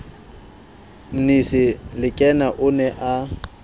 mmisi lekena o ne a